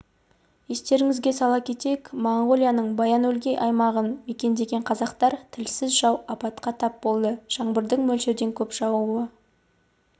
естеріңізге сала кетейік моңғолияның баян-өлгий аймағын мекендеген қазақтар тілсіз жау апатқа тап болды жаңбырдың мөлшерден көп жаууы